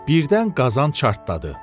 Birdən qazan çartladı.